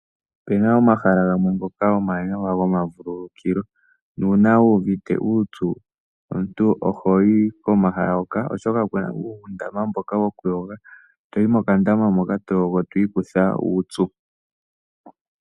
Ope na omahala gamwe ngoka omawanawa gomavululukilo nuuna wu uvite uupyu omuntu oho yi komahala hoka, oshoka oku na uundama mboka wokuyoga, to yi mokandama moka to yogo to ikutha uupyu.